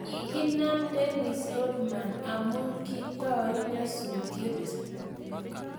kaginam Dennis Rodman amun kitoii nyasutyet